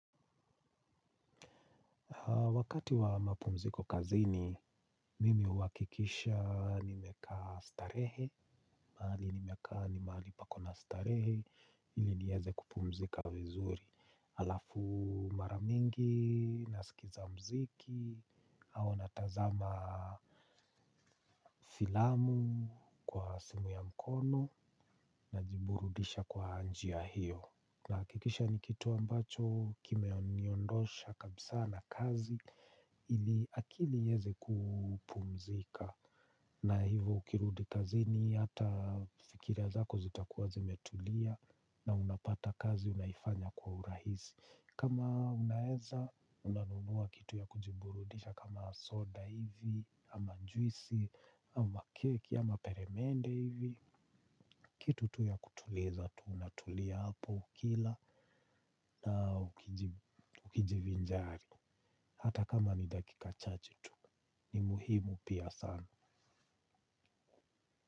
Wakati wa mapumziko kazini, mimi uhakikisha nimeka starehe, mahali nimekaa nimahali pako na starehe, ili nieze kupumzika vizuri. Alafu maramingi, nasikiza mziki, au natazama filamu kwa simu ya mkono, na jiburudisha kwa njia hiyo. Nahakikisha ni kitu ambacho kimeniondosha kabisa na kazi ili akili iweze kupumzika na hivyo ukirudi kazini ata fikra zako zitakuwa zimetulia na unapata kazi umeifanya kwa urahisi kama unaeza unanunua kitu ya kujiburudhisha kama soda hivi ama juisi ama keki ama peremende hivi. Kitu tu ya kutuleza tu, unatulia hapo ukila na ukijivinjari. Hata kama ni dakika chache tu, ni muhimu pia sana.